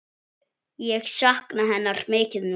Ég sakna hennar mikið núna.